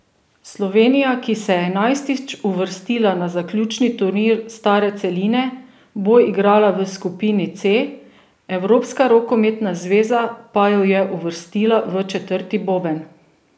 Slovenija, ki se je enajstič uvrstila na zaključni turnir stare celine, bo igrala v skupini C, Evropska rokometna zveza pa jo je uvrstila v četrti boben.